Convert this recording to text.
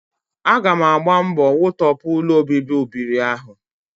Aga m agba mbọ wutọpụ ụlọobibi ụbịrị ahụ